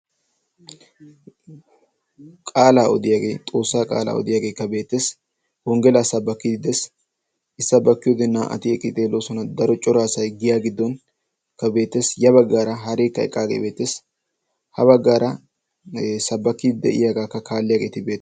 qaalaa odiyaagee xoossaa qaalaa odiyaageekka beetees wonggelaa sabbakkiidi dees issabbakkiyoodi naa''ati eqqii xeeloosona daro coraasay giya giddonkka beetees ya baggaara haareekka eqqaagee beetees ha baggaara sabbakkiidi de'iyaagaakka kaalliyaageeti be'ete